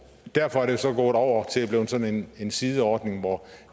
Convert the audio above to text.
derfor er det så gået over til at blive sådan en sideordning hvor